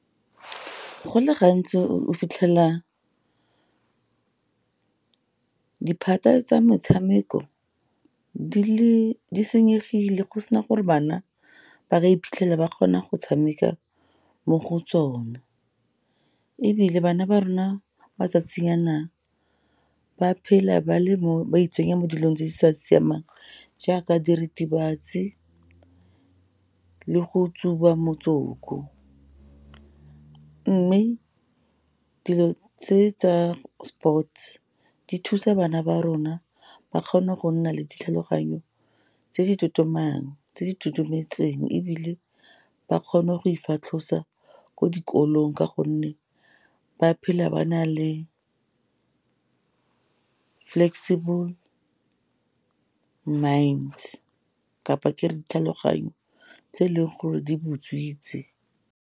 Go le gantsi, o fitlhela ditphata tsa metshameko di senyegile go sena gore bana ba ka iphitlhela ba kgona go tshameka mo go tsona, ebile bana ba rona matsatsing a na, ba phela ba itsenya mo dilong tse di sa siamang jaaka diritibatsi, le go tsuba motsoko. Mme, dilo tse tsa sports di thusa bana ba rona ba kgone go nna le ditlhaloganyo , tse di totometseng, ebile ba kgone go ifatlhosa ko dikolong, ka gonne ba phela ba na le flexible minds, kapa ke re ditlhaloganyo tse e leng gore di butswitse.